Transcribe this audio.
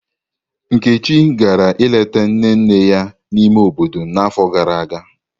Nneka gara ileta nne nne ya n'ime obodo n'afọ gara aga.